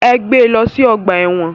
Ẹ gbé lọ sí ọgbà ẹ̀wọ̀n.